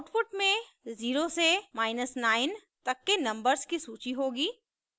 output में 0 से 9 तक के नंबर्स की सूची होगी